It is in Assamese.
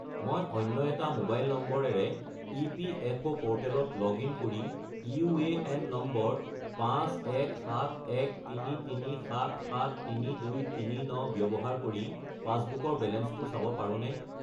মই অন্য এটা মোবাইল নম্বৰেৰে ইপিএফঅ’ প'ৰ্টেলত লগ-ইন কৰি ইউএএন নম্বৰ 517133773239 ব্যৱহাৰ কৰি পাছবুকৰ বেলেঞ্চটো চাব পাৰোঁনে?